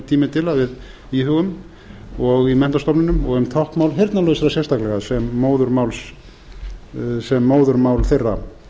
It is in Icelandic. tími til að við íhugum og í menntastofnunum og um táknmál heyrnarlausra sérstaklega sem móðurmáls þeirra